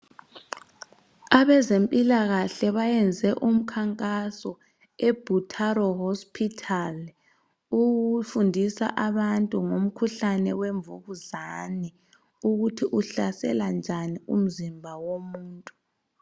Abezempilakahle bayenze umkhankaso eButaro hospital. Ukufundisa abantu ngomkhuhlane wemvukuzane ukuthi uhlasela njani umzimba womuntu.